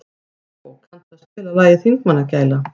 Bóbó, kanntu að spila lagið „Þingmannagæla“?